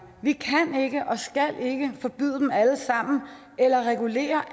vi kan ikke og skal ikke forbyde dem alle sammen eller regulere